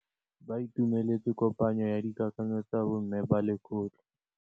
Ba itumeletse kôpanyo ya dikakanyô tsa bo mme ba lekgotla.